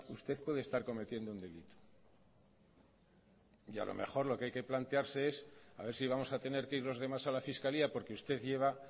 usted puede estar cometiendo un delito y a lo mejor lo que hay que plantearse es a ver si vamos a tener que ir los demás a la fiscalía porque usted lleva